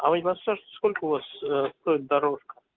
а вы не подскажете сколько у вас стоит дорожка